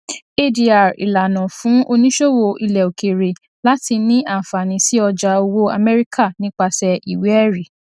adr ìlànà fún oníṣòwò ilẹòkèèrè láti ní àǹfààní sí ọjà owó amẹríkà nipasẹ ìwéẹrí